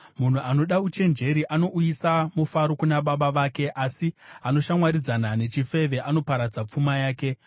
Munhu anoda uchenjeri anouyisa mufaro kuna baba vake, asi anoshamwaridzana nechifeve anoparadza pfuma yake.